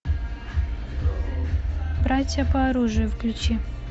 братья по оружию включи